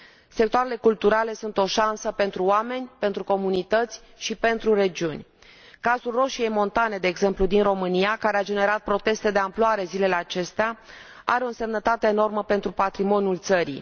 Sectoarele culturale sunt o șansă pentru oameni, pentru comunități și pentru regiuni. Cazul Roșiei Montane, de exemplu, din România, care a generat proteste de amploare zilele acestea, are o însemnătate enormă pentru patrimoniul țării.